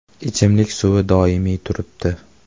Ichimlik suvi doimiy turibdi.